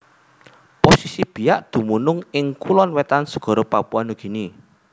Posisi Biak dumunung ing Kulon Wetan segara Papua Nugini